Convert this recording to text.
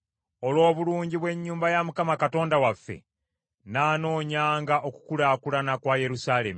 Olw’obulungi bw’ennyumba ya Mukama Katonda waffe, nnaanoonyanga okukulaakulana kwa Yerusaalemi.